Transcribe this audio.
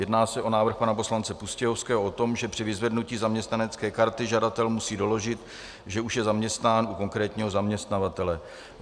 Jedná se o návrh pana poslance Pustějovského o tom, že při vyzvednutí zaměstnanecké karty žadatel musí doložit, že už je zaměstnán u konkrétního zaměstnavatele.